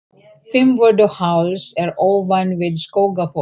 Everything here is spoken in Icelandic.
Fimmvörðuháls er ofan við Skógafoss.